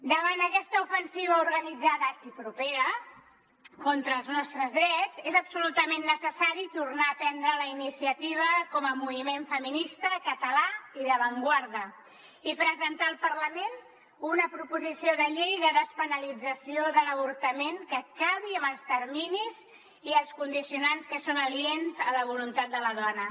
davant aquesta ofensiva organitzada i propera contra els nostres drets és absolutament necessari tornar a prendre la iniciativa com a moviment feminista català i d’avantguarda i presentar al parlament una proposició de llei de despenalització de l’avortament que acabi amb els terminis i els condicionants que són aliens a la voluntat de la dona